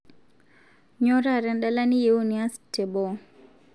nyoo taata edala niiyieu nias teboo